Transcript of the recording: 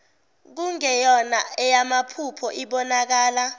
kungeyona eyamaphupho ibonakala